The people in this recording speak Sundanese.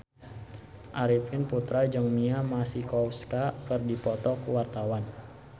Arifin Putra jeung Mia Masikowska keur dipoto ku wartawan